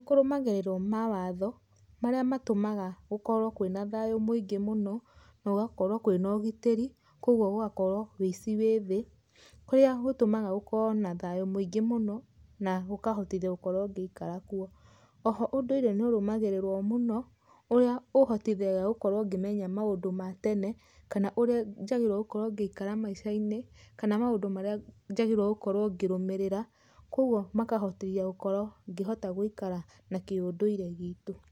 Nĩ kũrũmagĩrĩrwo mawatho marĩa matũmaga gũkorwo kwĩna thayũ mũingĩ mũno, na gũgakorwo kwĩna ũgĩtĩrĩ kogũo gũgakorwo wĩici wĩ thĩ, kũria gũtũmaga gũkorwo na thayũ mũingĩ mũno na gũkahotithia gũkorwo ngĩikara kuo, o ho ũndũire nĩ ũrũmagĩrĩrwo mũno, ũria ũhotithagia gũkorwo ngĩmenya maũndũ ma tene kana ũrĩa njagĩrĩirwo gũkorwo ngĩikara maica-inĩ, kana maũndũ marĩa njagĩrĩirwo gũkorwo ngĩrũmĩrĩra, kogwo makahotithia gũkorwo ngĩhota gũikara na kĩũndũire gitũ.